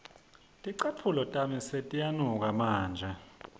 ticatfulo tami setiyanuka manje